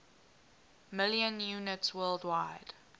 million units worldwide